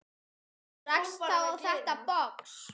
Rakst þá á þetta box.